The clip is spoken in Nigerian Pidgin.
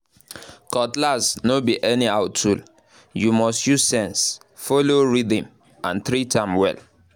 cutlass no be anyhow tool—you must use sense follow rhythm and treat am well